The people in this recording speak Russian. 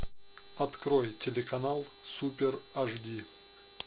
открой телеканал супер эйчди